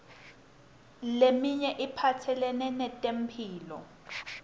leminye iphatselene netemphilo